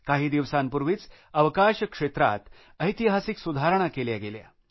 काही दिवसांपूर्वीच अवकाश क्षेत्रात ऐतिहासिक सुधारणा केल्या गेल्या